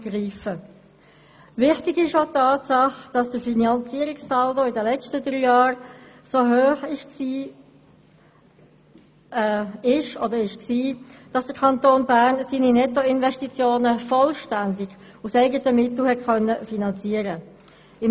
Wichtig ist auch die Tatsache, dass der Finanzierungssaldo in den letzten drei Jahren so hoch war, dass der Kanton Bern seine Nettoinvestitionen vollständig aus eigenen Mitteln finanzieren konnte.